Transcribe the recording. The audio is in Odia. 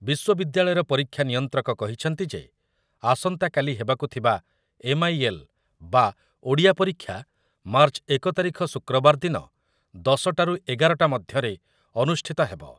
ବିଶ୍ୱବିଦ୍ୟାଳୟର ପରୀକ୍ଷା ନିୟନ୍ତ୍ରକ କହିଛନ୍ତି ଯେ ଆସନ୍ତାକାଲି ହେବାକୁ ହବାକୁ ଥିବା ଏମ୍ଆଇଏଲ୍ ଓଡ଼ିଆ ପରୀକ୍ଷା ମାର୍ଚ୍ଚ ଏକ ତାରିଖ ଶୁକ୍ରବାର ଦିନ ଦଶ ଟାରୁ ଏଗାର ଟା ମଧ୍ୟରେ ଅନୁଷ୍ଠିତ ହେବ ।